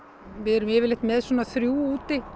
við erum yfirleitt með svona þrjú úti